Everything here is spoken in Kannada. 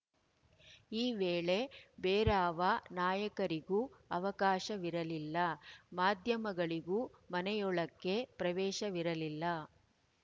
ಈ ವೇಳೆ ಬೇರಾವ ನಾಯಕರಿಗೂ ಅವಕಾಶವಿರಲಿಲ್ಲ ಮಾಧ್ಯಮಗಳಿಗೂ ಮನೆಯೊಳಕ್ಕೆ ಪ್ರವೇಶವಿರಲಿಲ್ಲ